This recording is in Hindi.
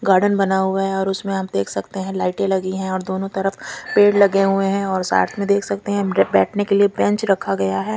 गार्डन बना हुआ है और उसमे आप देख सकते है लाइटे लगी है और दोनों तरफ पेड़ लगे हुए है और साथ में देख सकते है बेठने के लिए बेंच रखा गया है।